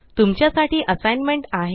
तुमच्या साठी असाइनमेंट आहे